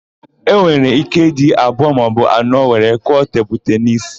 E nwere íké ịdị abụọ maọbụ anọ were kụọ tenisi tebulu.